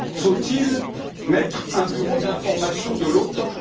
Faut il mettre en place un bureau d'information de l'Otan?